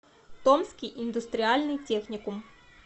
томский индустриальный техникум